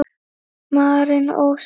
Maren Ósk.